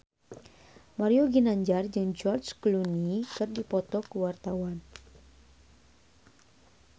Mario Ginanjar jeung George Clooney keur dipoto ku wartawan